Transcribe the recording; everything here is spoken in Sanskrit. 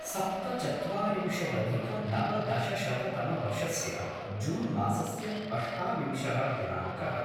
सप्तचत्वारिंशदधिकनवदशशततमवर्षस्य जून् मासस्य अष्टाविंशः दिनाङ्कः